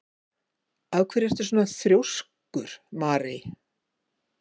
Af hverju ertu svona þrjóskur, Marey?